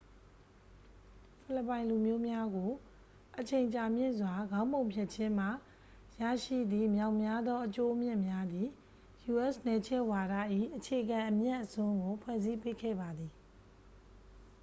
ဖိလစ်ပိုင်လူမျိုးများကို အချိန်ကြာမြင့်စွာ ခေါင်းပုံဖြတ်ခြင်းမှ ရရှိသည့်မြောက်များသော အကျိုးအမြတ်များသည် u.s. နယ်ချဲ့ဝါဒ၏ အခြေခံအမြတ်အစွန်းကို ဖွဲ့စည်းပေးခဲ့ပါသည်